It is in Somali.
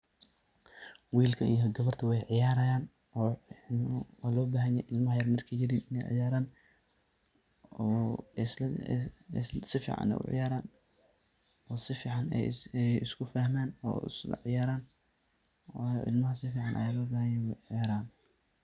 Wilka iyo gabada wey ciyarayan oo waa lo baxan yahay cilma yar markey yaryihin iney ciyaraan, oo isla si fican ay u ciyaran oo si fican ay isku fahman oo isla ciyaraan wayo cilmaha si fican ayaa logu bahan yahay iney u ciyaraan.